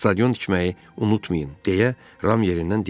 "Stadion tikməyi unutmayın," deyə Ram yerindən dilləndi.